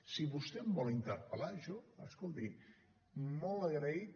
si vostè em vol interpel·lar jo escolti molt agraït